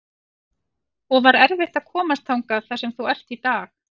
og var erfitt að komast þangað þar sem þú ert í dag?